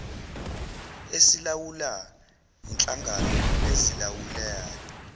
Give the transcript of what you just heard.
esilawula inhlangano ezilawulayo